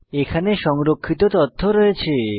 এখানে সংরক্ষিত তথ্য রয়েছে